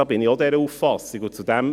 Dieser Auffassung bin ich auch.